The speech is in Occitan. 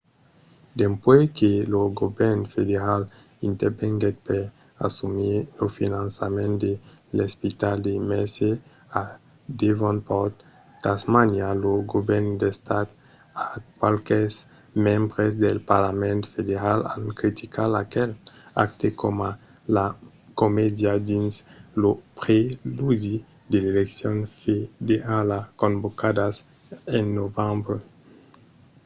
dempuèi que lo govèrn federal intervenguèt per assumir lo finançament de l’espital de mersey a devonport tasmania lo govèrn d’estat e qualques membres del parlament federal an criticat aquel acte coma de comèdia dins lo preludi de l’eleccion federala convocadas en novembre